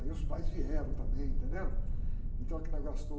Aí os pais vieram também, entendeu? Então o que nós gastamos...